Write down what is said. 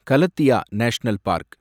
Galathea national park